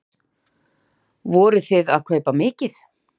Hödd: Vorið þið að kaupa mikið?